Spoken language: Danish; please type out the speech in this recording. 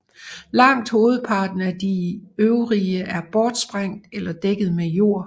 Langt hovedparten af de øvrige er bortsprængt eller dækket med jord